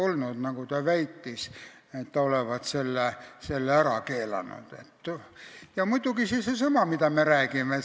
Ja muidugi on siin seesama seaduse vastuolude teema, millest me rääkisime.